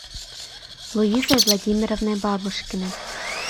луизой владимировной бабушкиной